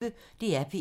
DR P1